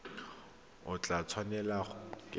o tla tshwanelwa ke go